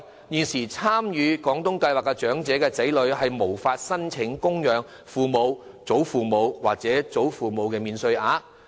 現時參與廣東計劃的長者的子女，並不能申請供養父母、祖父母或外祖父母免稅額。